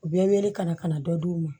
U bɛ wele ka na ka na dɔ d'u ma